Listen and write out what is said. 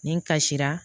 Nin kasira